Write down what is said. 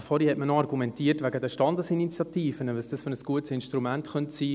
Vorhin hat man noch wegen den Standesinitiativen argumentiert, welch gutes Instrument dies sein könnte.